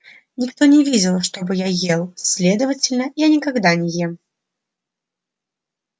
никто не видел чтобы я ел следовательно я никогда не ем